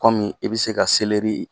Kɔmi i bɛ se ka selɛri